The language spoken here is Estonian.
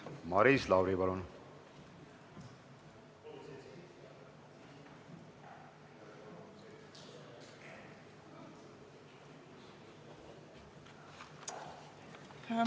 Maris Lauri, palun!